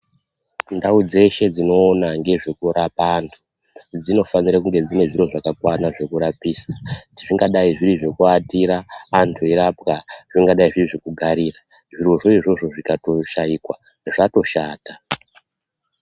Ndau dzeshe dzinoona ngezvekurapa antu, dzinofana kunga dzine zviro zvakakwana zvekurapisa, zvingadai zviri zvekuatira antu eirapwa ,zvingadai zviri zvekugarira, zvirozvo izvozvo zvikatoshaikwa zvatoshata.